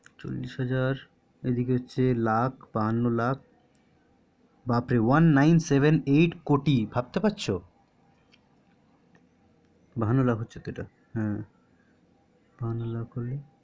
চল্লিশ হাজার এদিকে হচ্ছে লাখ বাহান্ন লাখ বাপরে তাতে one nine seven eight কোটি ভাবতে পারছো বাহান্ন লাখ হলে